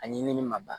A ɲimini ma ban